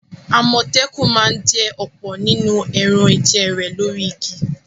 Àmọ̀tẹ́kùn ma ń jẹ ọ̀pọ̀ nínú ẹran-ìjẹ rẹ̀ lórí igi.